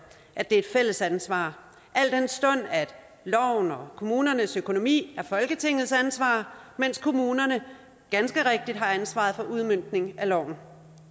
at det er et fælles ansvar al den stund at loven og kommunernes økonomi er folketingets ansvar mens kommunerne ganske rigtigt har ansvaret for udmøntning af loven